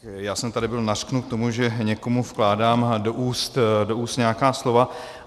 Já jsem tady byl nařknut z toho, že někomu vkládám do úst nějaká slova.